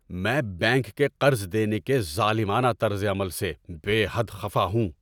میں بینک کے قرض دینے کے ظالمانہ طرز عمل سے بے حد خفا ہوں۔